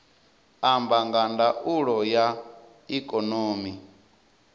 amba nga ndaulo ya ikonomi